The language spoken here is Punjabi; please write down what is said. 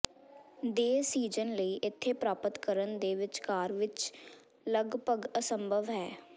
ਦੇ ਸੀਜ਼ਨ ਲਈ ਇੱਥੇ ਪ੍ਰਾਪਤ ਕਰਨ ਦੇ ਵਿਚਕਾਰ ਵਿੱਚ ਲਗਭਗ ਅਸੰਭਵ ਹੈ